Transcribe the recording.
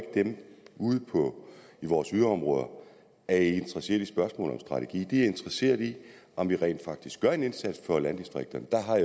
dem ude i vores yderområder er interesseret i spørgsmål om strategi de er interesseret i om vi rent faktisk gør en indsats for landdistrikterne der har